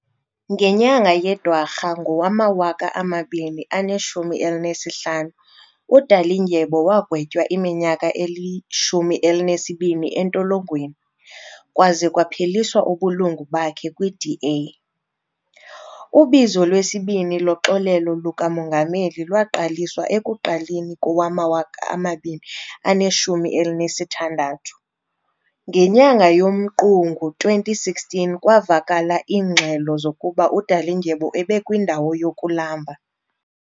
Ngenyanga yeDwarha ngowama-2015, uDalindyebo wagwetywa iminyaka elishumi elinesibini entolongweni, kwaze kwapheliswa ubulungu bakhe kwiDA. Ubizo lwesibini loxolelo lukamongameli lwaqaliswa ekuqaleni kowe-2016. Ngenyanga yoMqungu 2016 kwavakala iingxelo zokuba uDalindyebo ebekwindawo yokulamba.